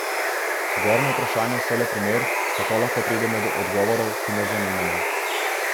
Zgornja vprašanja so le primer, kako lahko pridemo do odgovorov, ki nas zanimajo.